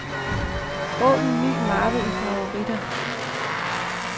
Åbn ny mappe i favoritter.